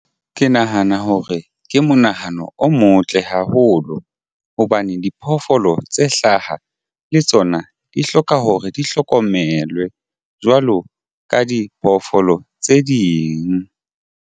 Ke nahana hore ke monahano o motle haholo hobane diphoofolo tse hlaha le tsona di hloka hore di hlokomelwe jwalo ka diphoofolo tse ding.